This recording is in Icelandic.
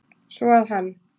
Svo að hann.